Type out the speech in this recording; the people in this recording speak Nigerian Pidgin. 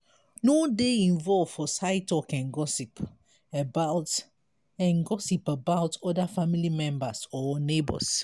no dey involve for side talk and gossip about and gossip about oda family members or neigbours